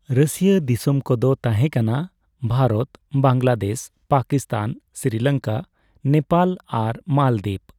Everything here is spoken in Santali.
ᱨᱟᱹᱥᱤᱭᱟᱹ ᱫᱤᱥᱚᱢ ᱠᱚᱫᱚ ᱛᱟᱦᱮᱸᱠᱟᱱᱟ ᱵᱷᱟᱨᱚᱛ, ᱵᱟᱝᱞᱟᱫᱮᱥ, ᱯᱟᱠᱤᱥᱛᱷᱟᱱ, ᱥᱨᱤᱞᱚᱝᱠᱟ, ᱱᱮᱯᱟᱞ ᱟᱨ ᱢᱟᱞᱫᱤᱯ ᱾